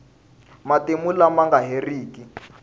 matimu lama nga heriki